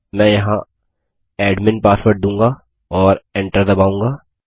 मैं यहाँ admin password दूंगा और Enter दबाऊँगा